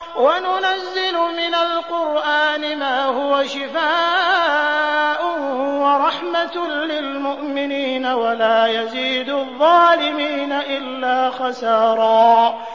وَنُنَزِّلُ مِنَ الْقُرْآنِ مَا هُوَ شِفَاءٌ وَرَحْمَةٌ لِّلْمُؤْمِنِينَ ۙ وَلَا يَزِيدُ الظَّالِمِينَ إِلَّا خَسَارًا